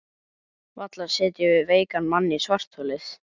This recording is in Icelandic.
Varla setjum við veikan mann í svartholið?